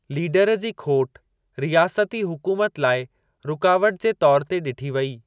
Leader जी खोटि रियासती हुकूमत लाइ रुकावट जे तौर ते ॾिठी वेई।